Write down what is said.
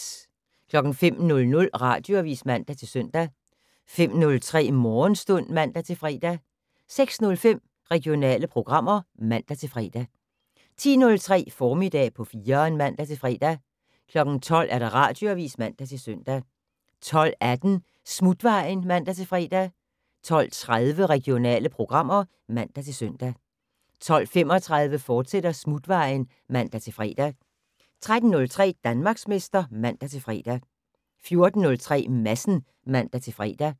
05:00: Radioavis (man-søn) 05:03: Morgenstund (man-fre) 06:05: Regionale programmer (man-fre) 10:03: Formiddag på 4'eren (man-fre) 12:00: Radioavis (man-søn) 12:18: Smutvejen (man-fre) 12:30: Regionale programmer (man-søn) 12:35: Smutvejen, fortsat (man-fre) 13:03: Danmarksmester (man-fre) 14:03: Madsen (man-fre)